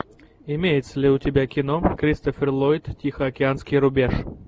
имеется ли у тебя кино кристофер ллойд тихоокеанский рубеж